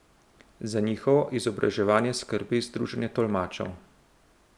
Za njihovo izobraževanje skrbi združenje tolmačev.